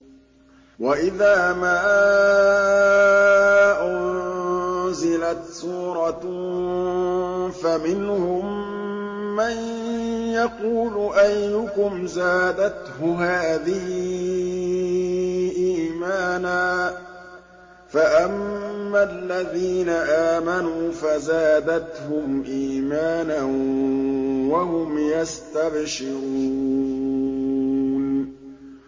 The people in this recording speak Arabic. وَإِذَا مَا أُنزِلَتْ سُورَةٌ فَمِنْهُم مَّن يَقُولُ أَيُّكُمْ زَادَتْهُ هَٰذِهِ إِيمَانًا ۚ فَأَمَّا الَّذِينَ آمَنُوا فَزَادَتْهُمْ إِيمَانًا وَهُمْ يَسْتَبْشِرُونَ